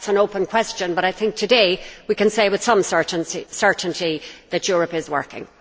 That is an open question, but I think today, we can say with some certainty that Europe is working.